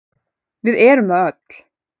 Við erum það öll.